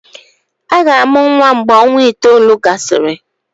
Aga-amụ nwa mgve ọnwa itoolu gasịrị.